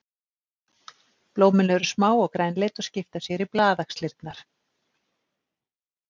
Blómin eru smá og grænleit og skipa sér í blaðaxlirnar.